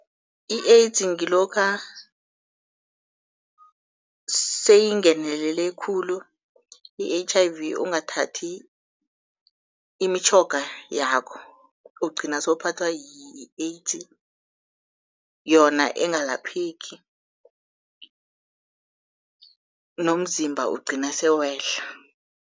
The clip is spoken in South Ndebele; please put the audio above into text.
I-AIDS ngilokha seyingenelele khulu i-H_I_V ungathathi imitjhoga yakho, ugcina sowuphathwa yi-AIDS yona engalapheki nomzimba ugcina sewehla.